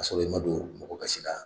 K'a sɔrɔ i ma don mɔgɔ gasi la.